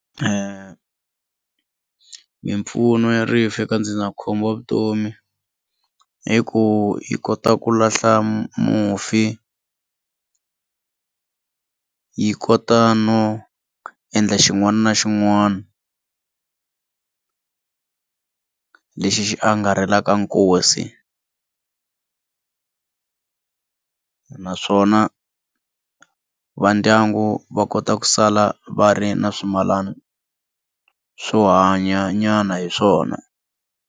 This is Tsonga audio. Mimpfuno ya rifu eka ndzindzakhombo wa vutomi i ku yi kota ku lahla mufi yi kota no endla xin'wana na xin'wana lexi xi angarhelaka nkosi naswona va ndyangu va kota ku sala va ri na swimilana swo hanya nyana hi swona.